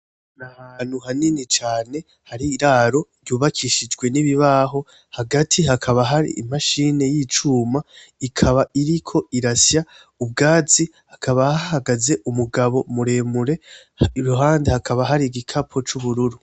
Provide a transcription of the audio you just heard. Nahantu hanini cane Hari iraro ryubakishijwe nibibaho, hagati hakaba Hari imashine y'icuma, ikaba iriko irasya ubwatsi, hakaba hahagaze umugabo muremure, iruhande hakaba Hari igikapo c'ubururu.